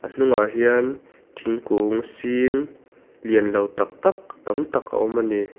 hnungah hian thingkung sin lian lo tak tak tam tak a awm a ni.